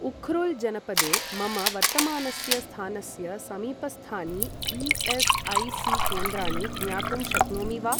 उख्रुल् जनपदे मम वर्तमानस्य स्थानस्य समीपस्थानि ई एस् आई सी केन्द्राणि ज्ञातुं शक्नोमि वा?